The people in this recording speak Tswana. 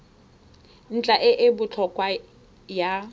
ntlha e e botlhokwa ya